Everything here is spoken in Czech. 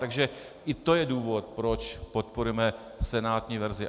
Takže i to je důvod, proč podporujeme senátní verzi.